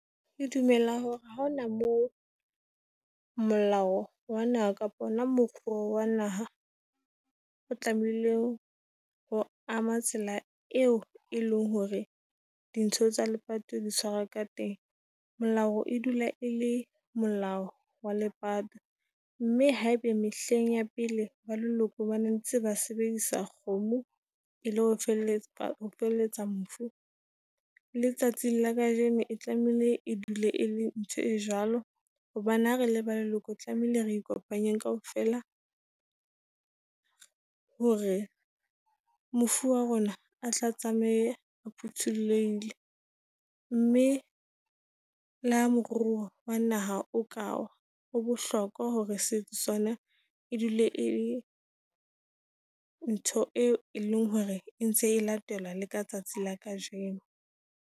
Ke dumela hore ha hona moo molao wa naha kapa ona moruo wa naha o tlamehileng ho ama tsela eo e leng hore dintho tsa lepato ditshwara ka teng. Molao e dula e le molao wa lepato, mme haebe mehleng ya pele ba leloko bane ntse ba sebedisa kgomo e le ho feletsa ho feletsa mofu, le tsatsing la kajeno e tlamehile e dule e le ntho e jwalo. Hobane ha re le ba leloko tlamehile re ikopanye kaofela , hore mofu wa rona a tla tsamaye a phuthulehile. Mme le ha moruo wa naha o Kawa, ho bohlokwa hore se sona e dule e ntho eo e leng hore e ntse e latelwa le ka tsatsi la kajeno.